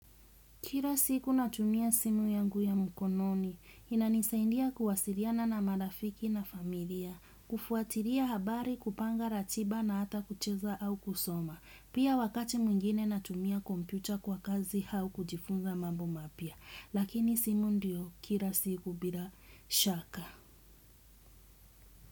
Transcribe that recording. Kila siku natumia simu yangu ya mkononi, inanisaidia kuwasiliana na marafiki na familia, kufuatilia habari, kupanga ratiba na hata kucheza au kusoma. Pia wakati mwingine natumia kompyuta kwa kazi au kujifunza mambo mapya. Lakini simu ndio, kila siku bila shaka.